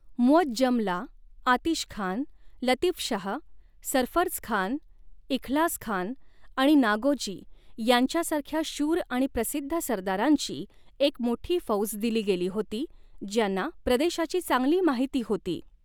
मुअज्जमला आतिशखान, लतीफशाह, सरफर्जखान, इखलासखान आणि नागोजी यांच्यासारख्या शूर आणि प्रसिद्ध सरदारांची एक मोठी फौज दिली गेली होती ज्यांना प्रदेशाची चांगली माहिती होती.